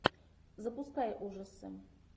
запускай ужасы